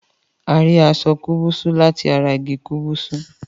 A rí aṣọ kubusu lati ará igi kúbúsú